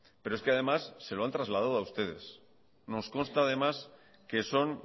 pero es que además se lo han traslado a ustedes nos consta además que son